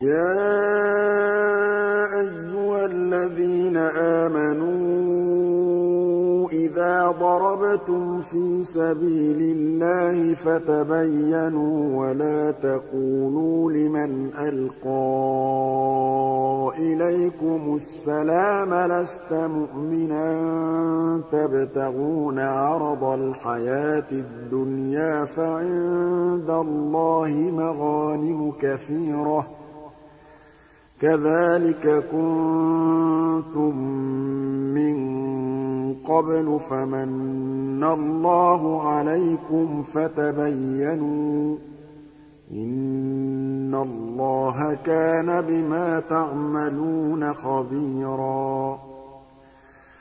يَا أَيُّهَا الَّذِينَ آمَنُوا إِذَا ضَرَبْتُمْ فِي سَبِيلِ اللَّهِ فَتَبَيَّنُوا وَلَا تَقُولُوا لِمَنْ أَلْقَىٰ إِلَيْكُمُ السَّلَامَ لَسْتَ مُؤْمِنًا تَبْتَغُونَ عَرَضَ الْحَيَاةِ الدُّنْيَا فَعِندَ اللَّهِ مَغَانِمُ كَثِيرَةٌ ۚ كَذَٰلِكَ كُنتُم مِّن قَبْلُ فَمَنَّ اللَّهُ عَلَيْكُمْ فَتَبَيَّنُوا ۚ إِنَّ اللَّهَ كَانَ بِمَا تَعْمَلُونَ خَبِيرًا